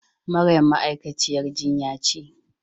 Maryam ma'aikaciyar jinya ce.